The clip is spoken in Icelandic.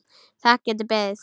Það getur beðið.